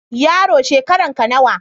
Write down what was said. Yaro, shekaranka nawa?